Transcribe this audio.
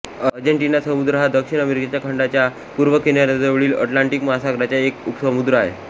आर्जेन्टिनी समुद्र हा दक्षिण अमेरिका खंडाच्या पूर्व किनाऱ्याजवळील अटलांटिक महासागराचा एक उपसमुद्र आहे